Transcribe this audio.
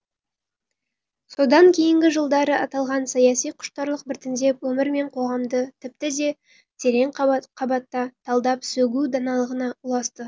содан кейінгі жылдары аталған саяси құштарлық біртіндеп өмір мен қоғамды тіпті де терең қабатта талдап сөгу даналығына ұласты